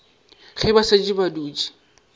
ge ba šetše ba dutše